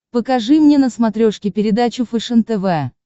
покажи мне на смотрешке передачу фэшен тв